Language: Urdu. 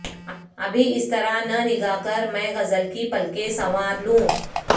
ابھی اسطرح نہ نگاہ کر میں غزل کی پلکیں سنوار لوں